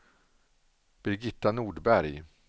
Birgitta Nordberg